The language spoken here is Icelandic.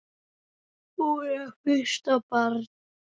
Hún er fyrsta barn.